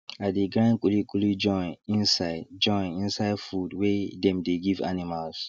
i de grind kuli kuli join inside join inside food wey dem de give animals